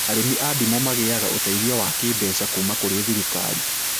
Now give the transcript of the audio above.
Arĩmi a ndimũ magĩaga ũteithio wa kĩmbeca kuma kũrĩ thirikari